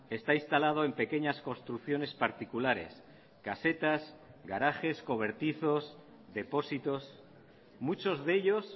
está instalado en pequeñas construcciones particulares casetas garajes cobertizos depósitos muchos de ellos